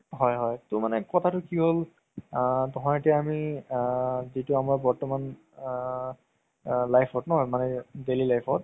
হয় হয় তো মানে কথাতো কি হ'ল আ ধৰ এতিয়া আমি আ যিতো আমাৰ বৰ্তমান আ life ন মানে daily life ত